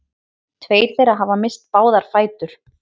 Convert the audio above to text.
Tveir þeirra hafa misst báða fætur